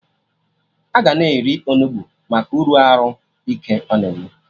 Aga na-eri Onugbu Maka uru arụ ike ọ na-enye